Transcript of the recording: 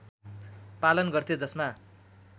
पालन गर्थे जसमा